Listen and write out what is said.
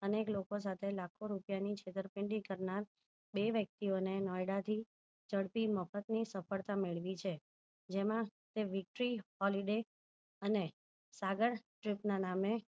અને લોકો સાથે લાખો રૂપિયા ની છેતરપીન્ડી કરનાર બે વ્યક્તિઓને નોયડા થી ચડતી મફત ની સફળતા મેળવી છે જેમાં તે weektree holiday અને સાગર trip ના નામે